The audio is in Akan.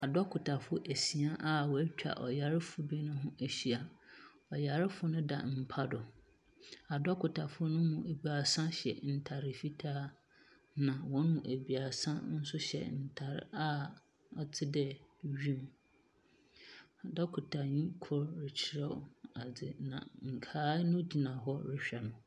Adɔkotafoɔ asia a wɔatwa ɔyarefoɔ bi ho ahyia. Ɔyarefoɔ no da mpa do. Adɔkotafo no mu ebaasa hyɛ ntare fitaa, na wɔn mu ebiasa nso hyɛ ntar a ɔte dɛ wim. Ɔkɔkotani kor rekyerɛw adze na nkae no gyina hɔ rehwɛ no.